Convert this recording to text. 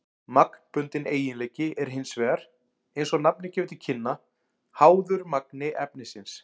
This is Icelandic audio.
Magnbundinn eiginleiki er hins vegar, eins og nafnið gefur til kynna, háður magni efnisins.